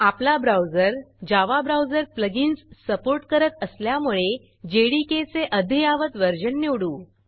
आपला browser Java browser plugins support करत असल्यामुळे जेडीके चे अद्ययावत व्हर्जन निवडू